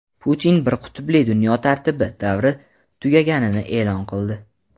Putin bir qutbli dunyo tartibi davri tugaganini eʼlon qildi.